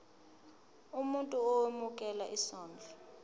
umuntu owemukela isondlo